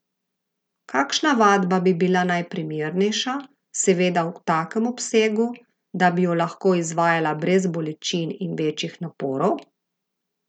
Kakšna vadba bi bila najprimernejša, seveda v takem obsegu, da bi jo lahko izvajala brez bolečin in večjih naporov?